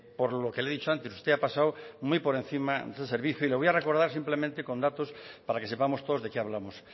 por lo que le he dicho antes usted ha pasado muy por encima de este servicio y le voy a recordar simplemente con datos para que sepamos todos de qué hablamos